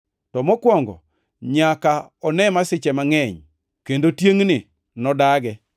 To mokwongo nyaka one masiche mangʼeny, kendo tiengʼni nodage.